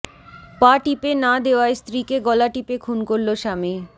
পা টিপে না দেওয়ায় স্ত্রীকে গলা টিপে খুন করল স্বামী